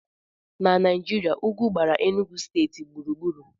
Na Naijiria, ugwu gbara Enugwu steeti gburugburu